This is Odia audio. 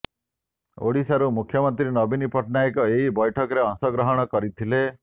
ଓଡ଼ିଶାରୁ ମୁଖ୍ୟମନ୍ତ୍ରୀ ନବୀନ ପଟ୍ଟନାୟକ ଏହି ବୈଠକରେ ଅଂଶଗ୍ରହଣ କରିଥିଲେ